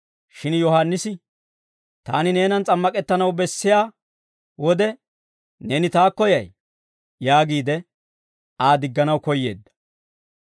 Shin Yohaannisi, «Taani neenan s'ammak'ettanaw bessiyaa wode, neeni taakko yay?» yaagiide, Aa digganaw koyyeedda.